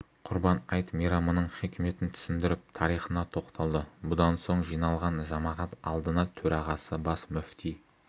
құрбан айт мейрамының хикметін түсіндіріп тарихына тоқталды бұдан соң жиналған жамағат алдына төрағасы бас мүфти